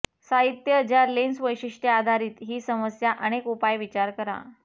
साहित्य ज्या लेन्स वैशिष्ट्ये आधारित ही समस्या अनेक उपाय विचार करा